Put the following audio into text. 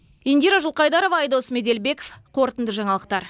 индира жылқайдарова айдос меделбеков қорытынды жаңалықтар